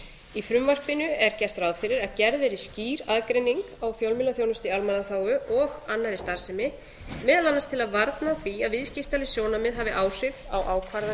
í frumvarpinu er gert ráð fyrir að gerð verði skýr aðgreining á fjölmiðlaþjónustu í almannaþágu og annarri starfsemi meðal annars til að varna því að viðskiptaleg sjónarmið hafi áhrif á ákvarðanir um